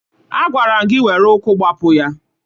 Agwara m gị were ụkwụ gbapụ ya!